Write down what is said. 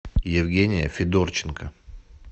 евгения федорченко